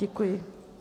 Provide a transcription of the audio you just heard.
Děkuji.